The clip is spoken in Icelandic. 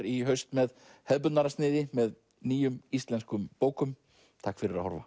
í haust með hefðbundnara sniði með nýjum íslenskum bókum takk fyrir að horfa